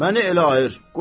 Məni elə ayır.